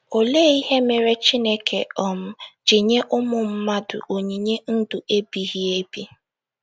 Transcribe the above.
Olee Ihe Mere Chineke um Ji Nye Ụmụ Mmadụ Onyinye Ndụ Ebighị Ebi?